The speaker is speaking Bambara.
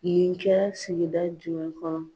Bingani kɛra sigi da jumɛn kɔnɔ.